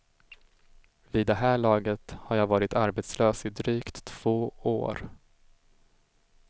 Vid det här laget har jag varit arbetslös i drygt två år.